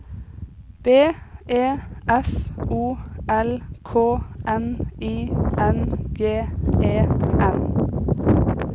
B E F O L K N I N G E N